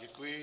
Děkuji.